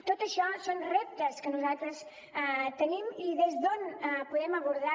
tot això són reptes que nosaltres tenim i des d’on podem abordar